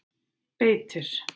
Beitir